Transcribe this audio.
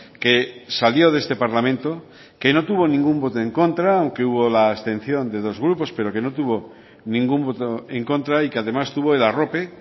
que salió de este parlamento que no tuvo ningún voto en contra aunque hubo la abstención de dos grupos pero que no tuvo ningún voto en contra y que además tuvo el arrope